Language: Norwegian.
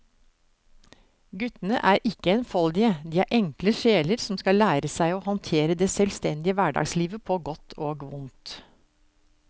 Guttene er ikke enfoldige, de er enkle sjeler som skal lære seg å håndtere det selvstendige hverdagslivet på godt og vondt.